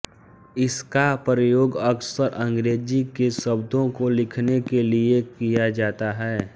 इसका प्रयोग अक्सर अंग्रेजी के शब्दों को लिखने के लिये किया जाता है